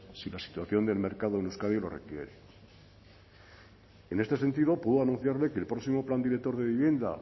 si la situación del mercado en euskadi lo requiere en este sentido puedo anunciarle que el próximo plan director de vivienda